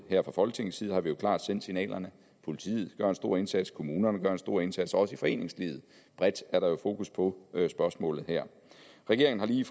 her fra folketingets side har vi jo klart sendt signalerne politiet gør en stor indsats kommunerne gør en stor indsats og også i foreningslivet bredt er der jo fokus på spørgsmålet her regeringen har lige